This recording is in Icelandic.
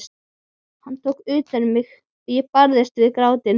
Hann tók utan um mig og ég barðist við grátinn.